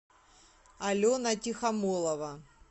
алена тихомолова